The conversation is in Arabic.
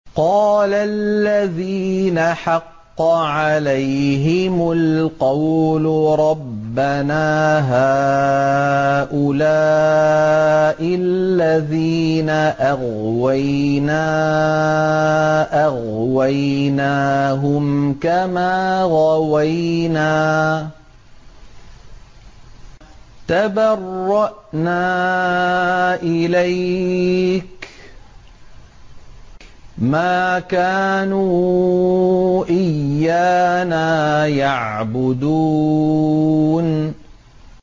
قَالَ الَّذِينَ حَقَّ عَلَيْهِمُ الْقَوْلُ رَبَّنَا هَٰؤُلَاءِ الَّذِينَ أَغْوَيْنَا أَغْوَيْنَاهُمْ كَمَا غَوَيْنَا ۖ تَبَرَّأْنَا إِلَيْكَ ۖ مَا كَانُوا إِيَّانَا يَعْبُدُونَ